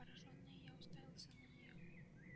поражённый я уставился на неё